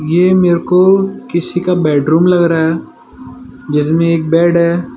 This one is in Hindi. ये मेरे को किसी का बेडरूम लग रहा है जिसमें एक बेड है।